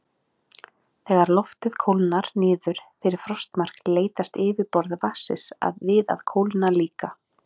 Þegar loftið kólnar niður fyrir frostmark leitast yfirborð vatnsins við að kólna líka.